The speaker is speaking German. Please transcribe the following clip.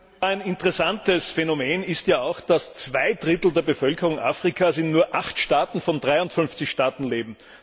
Ein interessantes Phänomen ist ja auch, dass zwei Drittel der Bevölkerung Afrikas in nur acht von 53 Staaten leben.